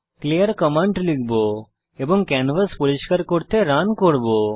clear command লিখব এবং canvas পরিষ্কার করতে রান করব